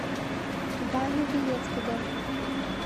ваню белецкого